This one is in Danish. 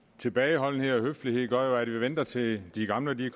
tilbageholdenhed og høflighed gør jo at vi venter til de gamle